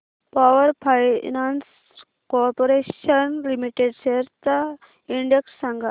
power finance corporation limited shares चा index सांगा